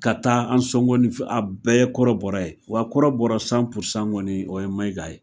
Ka taa Ansɔngɔ ni a bɛɛ ye kɔrɔbɔra ye, wa kɔrɔbɔra sanpurusan kɔni , o ye Mayiga ye.